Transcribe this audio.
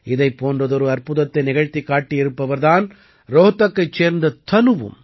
இதைப் போன்றதொரு அற்புதத்தை நிகழ்த்திக் காட்டியிருப்பவர் தான் ரோஹ்தக்கைச் சேர்ந்த தனுவும்